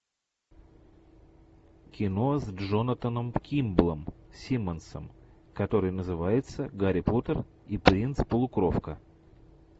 кино с джонатаном кимблом симмонсом который называется гарри поттер и принц полукровка